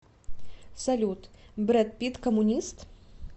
салют брэд питт коммунист